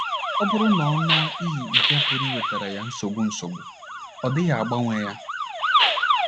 Ọ bụrụ na ọ ṅụọ iyi nke pụrụ iwetara ya nsogbu nsogbu, ọ dịghị agbanwe ya....